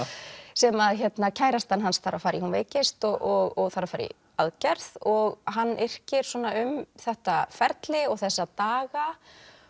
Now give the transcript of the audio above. sem kærastan hans þarf að fara í hún veikist og þarf að fara í aðgerð og hann yrkir um þetta ferli og þessa daga